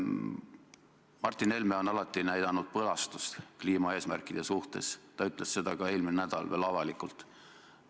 Martin Helme on alati näidanud üles põlastust kliimaeesmärkide suhtes, ta ütles seda veel eelmine nädal ka avalikult.